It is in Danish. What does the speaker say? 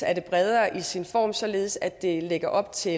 er det bredere i sin form således at det lægger op til